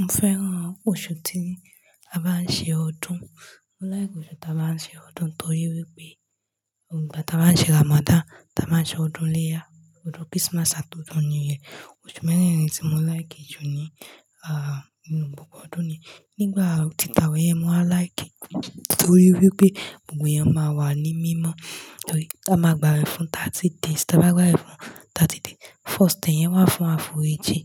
Mo fẹ́ràn oṣù tí a bá ń ṣe ọdún. Mo like oṣù tí a bá ń ṣe ọdún torí wípé nígbà tí a bá ń ṣe Ramadan, a máa ṣe ọdún iléyá, ọdún Christmas àti ọdún new year. Oṣù memẹ́rin tí mo like jù ní yen. Aaa ninu gbogbo ọdún ni. Nígbà tí àwé yen máa like, torí wípé gbogbo ẹyan máa wà ní mímọ́. Torí a máa gbawẹ̀ fún 30 days. Tí a bá gba awe fún 30 days, first ten yen wà fún àforíjì,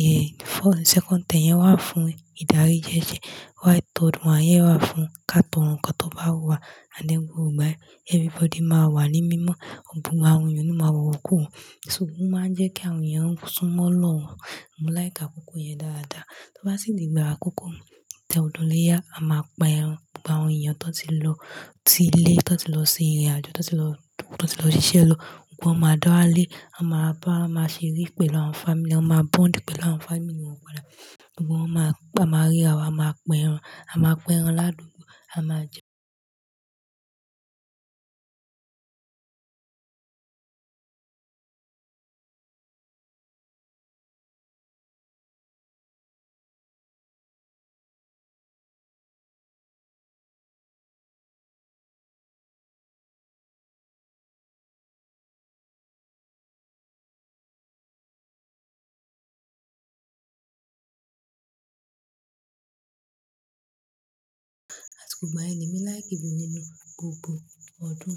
yeah, second ten yen wà fún ìdarí ji ese while third one yen wà fún káàtọ́ro nkan tó bá wun wa Ànd then gbogbo ìgbà yen, everybody máa wà ní mímọ́, gbogbo àwọn èèyàn oni máa wọ iwokúwo, ṣùgbọ́n ó máa ń jẹ́ kí àwọn èèyàn sún mọ́ Olorun mo like akoko yen daada, to ba si di igba akoko ti odun ileya ama pa eran, gbogbo awon eyan to ti lo si ile, to ti lo irin ajo, toti lo sise lọ, gbogbo wọn máa dá walé, a máa bá wọn, a ma ba ma ṣe eré pẹ̀lú àwọn family, a máa bond pẹ̀lú àwọn family pada, gbogbo won ma rira wa a máa pẹ ẹran, a máa pẹ ẹran ládùúgbò, a máa jẹ ẹ́. Àsiko igbayen ni emi like jù nínú gbogbo ọdún.